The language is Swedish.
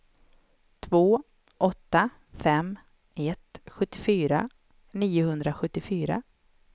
två åtta fem ett sjuttiofyra niohundrasjuttiofyra